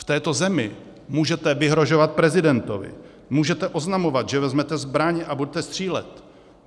V této zemi můžete vyhrožovat prezidentovi, můžete oznamovat, že vezmete zbraň a budete střílet.